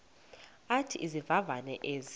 athi izivivane ezi